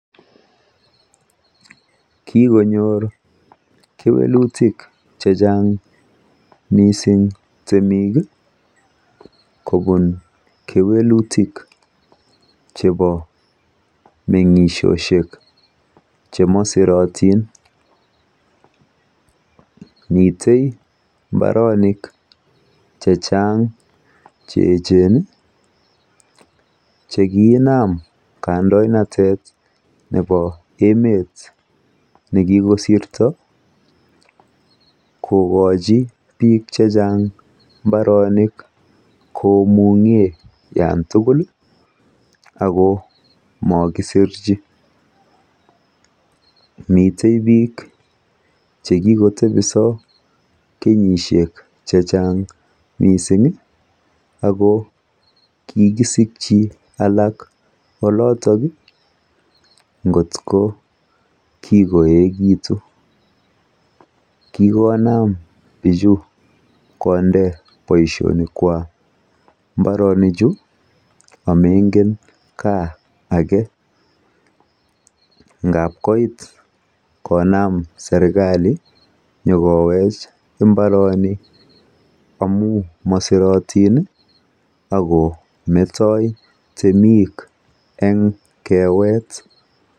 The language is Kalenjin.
Kikonyor kewelutik chechang mising temiki kobun kewelutik chebo mengishoshek chemosirotin miten mbarenik chechang cheecheni chekinam kandoinatet nepo emet nekikosirto kokochi biik chechang mbarenik komungen olantugul komokisirchi miten biik chekikotebiso chechang mising ako kikisikyin alak olotoki ngotko kikoekitu kikonam bichu kondei boishonikwak mbaronichu a moingen kaa ake ngap koit konam serkali nyokowech mbarenichu ngap mosironitin akometoi temik en kewet